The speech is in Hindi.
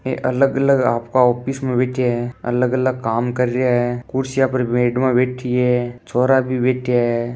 ऐ अलग अलग आपका ऑफिस मे बैठ्या है अलग अलग काम कर रिया है कुर्सियां पर मेडमां बैठी है छोरा भी बेठिया है।